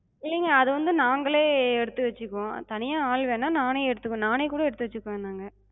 இல்லங்க அது வந்து நாங்களே எடுத்து வச்சுப்போ. தனியா ஆள் வேணா, நானே எடுத்து நானே கூட எடுத்து வச்சுப்பே நாங்க.